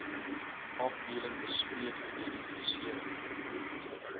afdeling bespreek identifisering